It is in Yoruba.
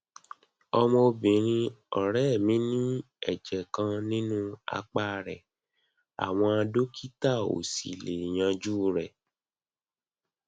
ọmọbìnrin ọrẹ mi ní ẹjẹ kan nínú apá rẹ àwọn dókítà ò sì lè yanjú rẹ